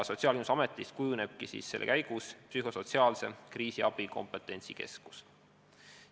Sotsiaalkindlustusametist kujunebki psühhosotsiaalse kriisiabi kompetentsikeskus.